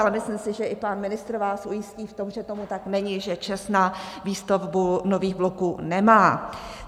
Ale myslím si, že i pan ministr vás ujistí o tom, že tomu tak není, že ČEZ na výstavbu nových bloků nemá.